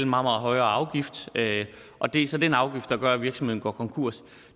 meget højere afgift og det er så den afgift der gør at virksomheden går konkurs